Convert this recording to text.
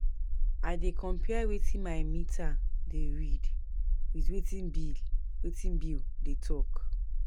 I dey compare wetin my meter dey read wit wetin bill wetin bill dey tok.